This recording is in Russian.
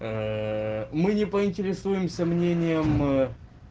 мы не поинтересуемся мнением